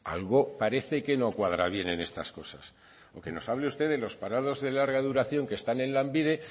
algo parece que no cuadra bien en estas cosas o que nos hable usted de los parados de larga duración que están en lanbide